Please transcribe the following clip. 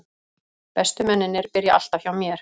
Bestu mennirnir byrja alltaf hjá mér.